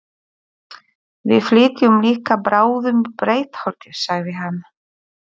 Við flytjum líka bráðum í Breiðholtið, sagði hann.